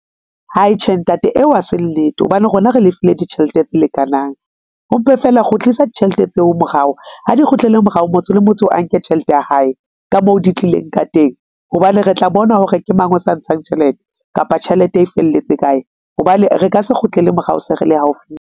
Hai tjhe, Ntate eo ha se nnete, hobane rona re lefile ditjhelete tse lekanang ho mpe fela kgutlisa ditjhelete tseo morao ha di kgutlele morao. Motho le motho a nke tjhelete ya hae ka moo di tlileng ka teng hobane re tla bona hore ke mang o sa ntshang tjhelete kapa tjhelete e felletse kae hobane re ka se kgutlele morao, se re le haufi.